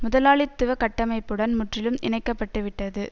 முதலாளித்துவ கட்டமைப்புடன் முற்றிலும் இணைக்கப்பட்டுவிட்டது